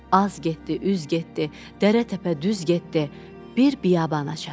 Az getdi, üz getdi, dərə-təpə düz getdi, bir biyabana çatdı.